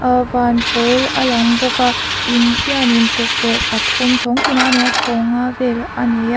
aa van pawl a lang bawka in hianin tukverh pathum chhawng tinah a nei a chhawng nga vel a ni a.